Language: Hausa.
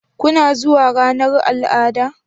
Kuna zuwa ranar al'ada?